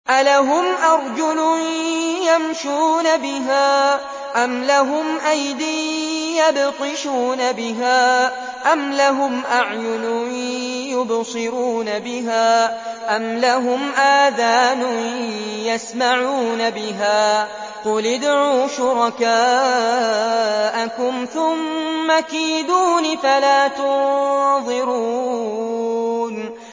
أَلَهُمْ أَرْجُلٌ يَمْشُونَ بِهَا ۖ أَمْ لَهُمْ أَيْدٍ يَبْطِشُونَ بِهَا ۖ أَمْ لَهُمْ أَعْيُنٌ يُبْصِرُونَ بِهَا ۖ أَمْ لَهُمْ آذَانٌ يَسْمَعُونَ بِهَا ۗ قُلِ ادْعُوا شُرَكَاءَكُمْ ثُمَّ كِيدُونِ فَلَا تُنظِرُونِ